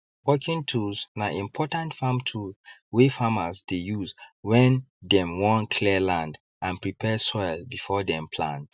working tools na important farm tool wey farmers dey use when dem wan clear land and prepare soil before dem plant